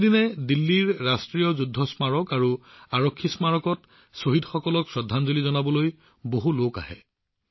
প্ৰতিদিনে দিল্লীৰ ৰাষ্ট্ৰীয় যুদ্ধ স্মাৰক আৰু আৰক্ষী স্মাৰকত শ্বহীদসকলক শ্ৰদ্ধা জনাবলৈ বহুলোকে আহে